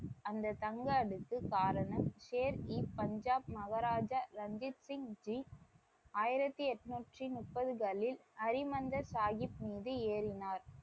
அந்த தங்க அடுக்கு காரணம் ஷேர் இ பஞ்சாப் மகாராஜா ரஞ்சித் சிங் ஜி ஆயிரத்தி எண்ணூற்றி முப்பதுகளில் ஹரிமந்திர் சாஹிப் மீது ஏறினார்.